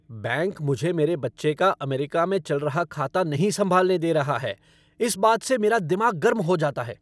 Bank मुझे मेरे बच्चे का अमेरिका में चल रहा खाता नहीं संभालने दे रहा है इस बात से मेरा दिमाग गर्म हो जाता है।